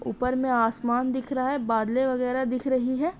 ऊपर मे आसमान दिख रहा है बादले वगेरा दिख रही है।